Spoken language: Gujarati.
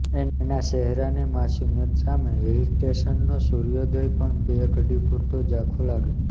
એના ચહેરાની માસૂમિયત સામે હિલસ્ટેશનનો સૂર્યોદય પણ બે ઘડી પૂરતો ઝાંખો લાગે